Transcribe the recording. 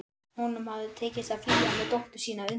Honum hafði tekist að flýja með dóttur sína undan